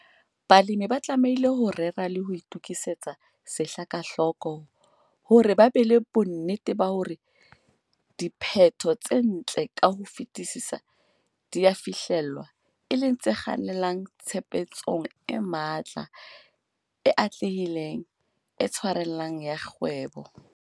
Balemi ba tlamehile ho rera le ho itokisetsa sehla ka hloko hore ba be le bonnete ba hore diphetho tse ntle ka ho fetisisa di a fihlellwa, e leng tse kgannelang tshebetsong e matla, e atlehileng, e tshwarellang ya kgwebo.